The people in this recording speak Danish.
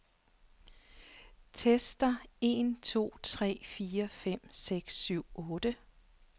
Tester en to tre fire fem seks syv otte.